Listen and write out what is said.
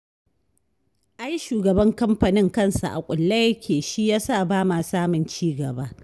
Ai shugaban kamfanin kansa a kulle yake shi ya sa ba ma samun ci gaba